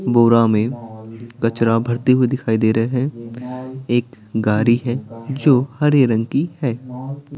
बोरा में कचरा भरते हुए दिखाई दे रहे हैं एक गाड़ी है जो हरे रंग की है।